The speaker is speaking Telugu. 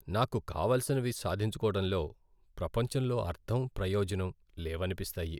నాకు కావలసినవి సాధించుకోవడంలో ప్రపంచంలో అర్ధం, ప్రయోజనం లేవనిపిస్తాయి.